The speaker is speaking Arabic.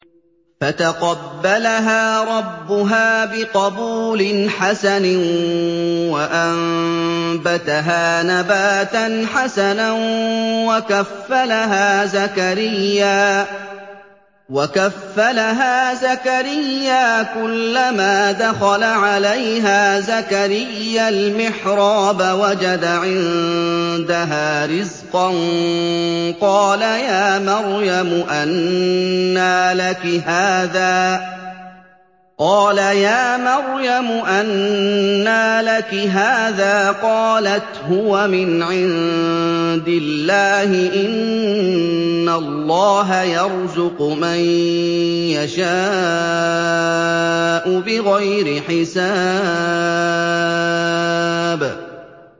فَتَقَبَّلَهَا رَبُّهَا بِقَبُولٍ حَسَنٍ وَأَنبَتَهَا نَبَاتًا حَسَنًا وَكَفَّلَهَا زَكَرِيَّا ۖ كُلَّمَا دَخَلَ عَلَيْهَا زَكَرِيَّا الْمِحْرَابَ وَجَدَ عِندَهَا رِزْقًا ۖ قَالَ يَا مَرْيَمُ أَنَّىٰ لَكِ هَٰذَا ۖ قَالَتْ هُوَ مِنْ عِندِ اللَّهِ ۖ إِنَّ اللَّهَ يَرْزُقُ مَن يَشَاءُ بِغَيْرِ حِسَابٍ